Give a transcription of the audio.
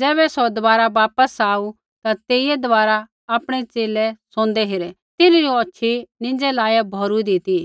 ज़ैबै सौ दबारा वापस आऊ ता तेइयै दबारा आपणै च़ेले सोंदै हेरै तिन्हरी औछ़ी नींज़ै लाइया भौरूइदी ती